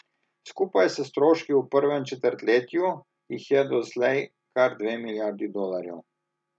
Skupaj s stroški v prvem četrtletju jih je doslej kar dve milijarde dolarjev.